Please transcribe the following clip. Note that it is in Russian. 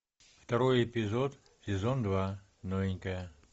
второй эпизод сезон два новенькая